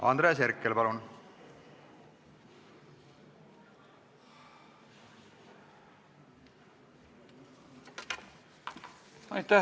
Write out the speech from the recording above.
Andres Herkel, palun!